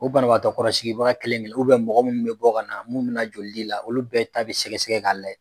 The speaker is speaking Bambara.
O banabagatɔ kɔrɔsigibaga kelen kelen mɔgɔ minnu bɛ bɔ ka na mun bɛ na joli di la olu bɛɛ ta bɛ sɛgɛ sɛgɛ k'a la